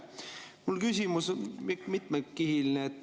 Minu küsimus on mitmekihiline.